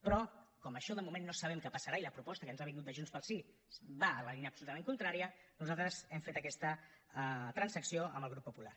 però com això de moment no sabem què passarà i la proposta que ens ha vingut de junts pel sí va en la línia absolutament contrària nosaltres hem fet aquesta transacció amb el grup popular